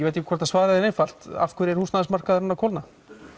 veit ekki hvort svarið er einfalt af hverju er húsnæðismarkaðurinn að kólna